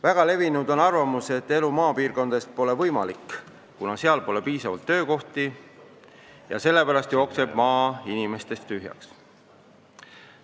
Väga levinud on arvamus, et elu maapiirkondades pole võimalik, kuna seal pole piisavalt töökohti, ja sellepärast jookseb maa inimestest tühjaks.